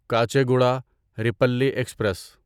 Kacheguda Repalle express